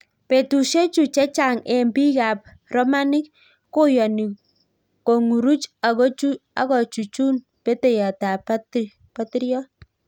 Petushe chuu chechang eng piik ap romanic koyani konguruch ago chuchun peteiyot ap patiriot